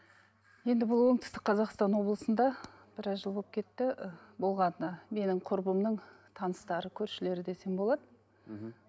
енді бұл оңтүстік қазақстан облысында біраз жыл болып кетті і болған і менің құрбымның таныстары көршілері десем болады мхм